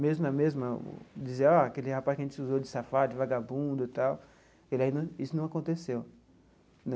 Mesmo na mesma, dizer ah aquele rapaz que a gente acusou de safado, de vagabundo e tal, ele ainda isso não aconteceu.